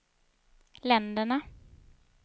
länderna